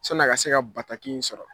sɔnni a ka se ka bataki in sɔrɔ.